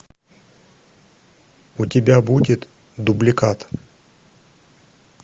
у тебя будет дубликат